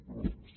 gràcies